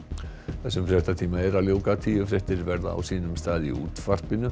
þessum fréttatíma er að ljúka tíu fréttir verða á sínum stað í útvarpinu